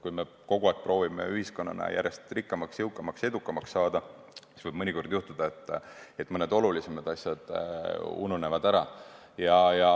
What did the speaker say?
Kui me kogu aeg proovime ühiskonnana järjest rikkamaks, jõukamaks ja edukamaks saada, siis võib mõnikord juhtuda, et mõned olulisemad asjad ununevad ära.